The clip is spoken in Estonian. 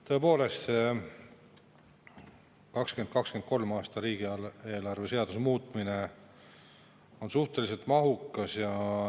Tõepoolest, see 2023. aasta riigieelarve seaduse muutmise on suhteliselt mahukas.